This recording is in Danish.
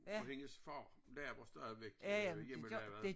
Og hendes far laver stadigvæk øh hjemmelavet